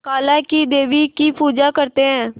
काला क़ी देवी की पूजा करते है